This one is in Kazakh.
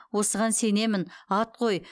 осыған сенемін ат қой